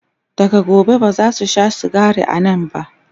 daga gobe bazasu Sha sigari a Nan ba